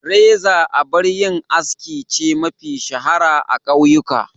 Reza abar yin aski ce mafi shahara a kauyuka.